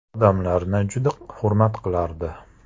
Odamlarni juda hurmat qilardi.